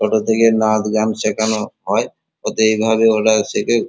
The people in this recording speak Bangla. ছোট থেকে নাচ গান সেখানো হয়। হতে এ ঘরে ওরা শেখে।